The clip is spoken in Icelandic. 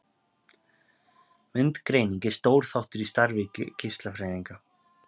Myndgreining er stór þáttur í starfi geislafræðinga.